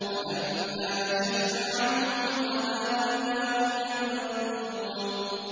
فَلَمَّا كَشَفْنَا عَنْهُمُ الْعَذَابَ إِذَا هُمْ يَنكُثُونَ